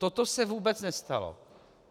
Toto se vůbec nestalo.